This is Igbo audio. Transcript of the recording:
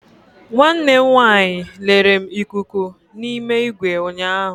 Nwanne m nwanyị lere m ikuku n'ime igwe ụnyaahụ.